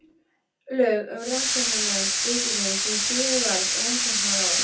Lög um Rannsóknanefnd ríkisins sem síðar varð Rannsóknaráð.